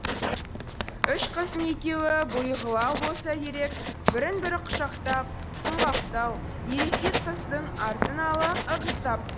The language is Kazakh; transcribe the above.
үш қыздың екеуі бұйығылау болса керек бірін бірі құшақтап сұңғақтау ересек қыздың артын ала ығыстап